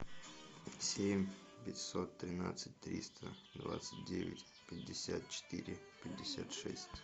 семь пятьсот тринадцать триста двадцать девять пятьдесят четыре пятьдесят шесть